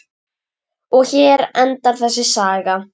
Og hér endar þessi saga.